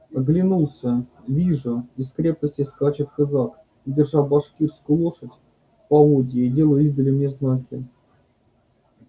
оглянулся вижу из крепости скачет казак держа башкирскую лошадь в поводья и делая издали мне знаки